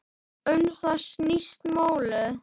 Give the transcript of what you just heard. Um það snýst málið.